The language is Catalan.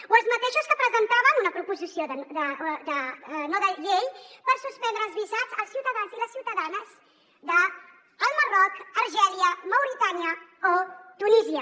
o els mateixos que presentaven una proposició no de llei per suspendre els visats als ciutadans i les ciutadanes del marroc algèria mauritània o tunísia